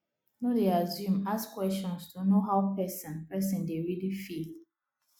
no dey assume ask questions to know how person person dey really feel